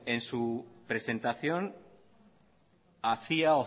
en su presentación hacía